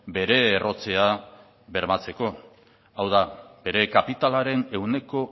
bere errotzea bermatzeko hau da bere kapitalaren ehuneko